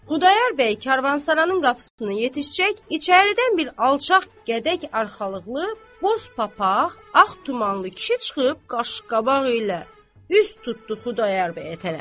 Xudayar bəy karvansaranın qapısını yetişcək içəridən bir alçaq gədək arxalıqlı boz papaq ağ tumanlı kişi çıxıb qaşqabaq ilə üz tutdu Xudayar bəyə tərəf.